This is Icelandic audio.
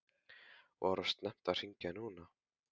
Var of snemmt að hringja núna?